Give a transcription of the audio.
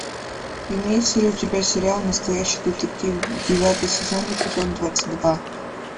имеется ли у тебя сериал настоящий детектив девятый сезон эпизод двадцать два